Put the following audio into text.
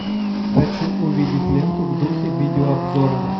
хочу увидеть ленту в духе видеообзора